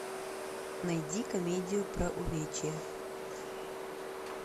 найди комедию про увечья